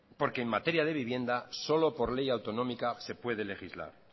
porque en materia de vivienda solo por ley autonómica se puede legislar